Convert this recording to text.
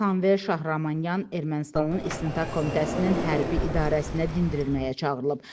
Samvel Şahramanyan Ermənistanın istintaq komitəsinin hərbi idarəsinə dindirilməyə çağırılıb.